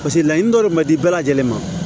Paseke laɲini dɔ de man di bɛɛ lajɛlen ma